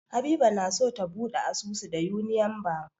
Habiba na so ta buɗe asusu da Union Bank.